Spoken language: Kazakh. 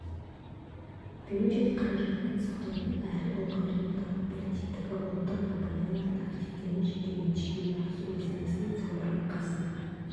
бюджет қаражатын сақтаудың әрі ұлғайтудың тағы бір тетігі ұлттық компаниялардың активтерін жекеменшікке өткізу мәселен самұрық қазына